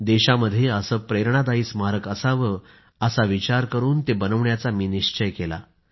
देशामध्ये असं प्रेरणादायी स्मारक असावं असा विचार करून ते बनवण्याचा मी निश्चय केला